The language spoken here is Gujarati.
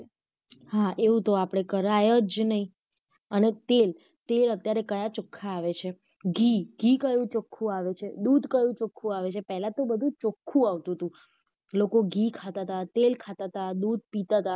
હા એવું તો આપડે કરાય જ નહિ અને તેલ, તેલ અત્યારે કયા ચોખ્ખા આવે છે ઘી, ઘી કયું ચોખ્ખું આવે છે, દૂધ કયું ચોખ્ખું આવે છે, પેહલા તો બધું ચોખ્ખું આવતું હતું લોકો ઘી ખાતા હતા, તેલ ખાતા હતા દૂધ પીતા હતા.